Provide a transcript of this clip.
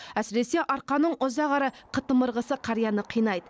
әсіресе арқаның ұзақ әрі қытымыр қысы қарияны қинайды